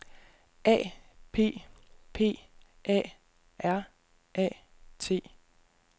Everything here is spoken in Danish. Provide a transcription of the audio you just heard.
A P P A R A T